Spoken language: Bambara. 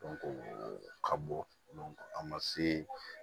ka bɔ a ma se